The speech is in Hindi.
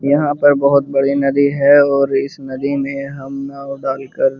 यहाँ पर बहुत बड़ी नदी है और इस नदी में हम नाव डालकर --